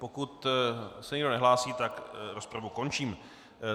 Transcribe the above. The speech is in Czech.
Pokud se nikdo nehlásí, tak rozpravu končím.